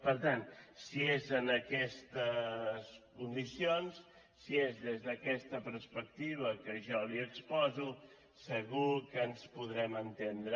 per tant si és en aquestes condicions si és des d’aquesta perspectiva que jo li exposo segur que ens podrem entendre